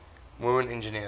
women engineers